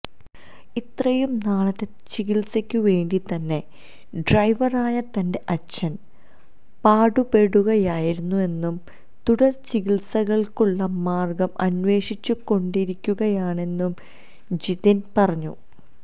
ഇത്രയും നാളത്തെ ചികിത്സയ്ക്ക് വേണ്ടി തന്നെ ഡ്രൈവറായ തന്റെ അച്ഛന് പാടുപെടുകയായിരുന്നെന്നും തുടര് ചികിത്സകള്ക്കുള്ള മാര്ഗം അന്വേഷിച്ചുകൊണ്ടിരിക്കുകയാണെന്നും ജിതിന് പറഞ്ഞു